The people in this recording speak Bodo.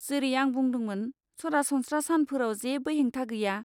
जेरै आं बुंदोंमोन, सरासनस्रा सानफोराव जेबो हेंथा गैया।